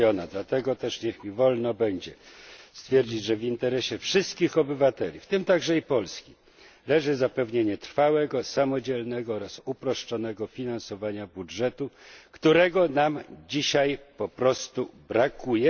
Dlatego też niech mi wolno będzie stwierdzić, że w interesie wszystkich obywateli, w tym także i Polski, leży zapewnienie trwałego, samodzielnego oraz uproszczonego finansowania budżetu, którego nam dzisiaj po prostu brakuje.